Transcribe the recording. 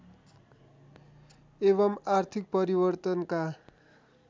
एवं आर्थिक परिवर्तनका